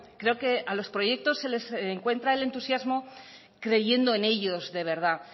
creo que a los proyectos se les encuentra el entusiasmo creyendo en ellos de verdad